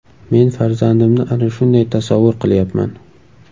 Men farzandimni ana shunday tasavvur qilyapman.